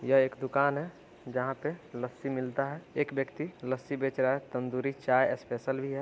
यह एक दुकान है जहाँ पे लस्सी मिलता है एक व्यक्ति लस्सी बेच रहा है तंदूरी चाय स्पेशल भी है।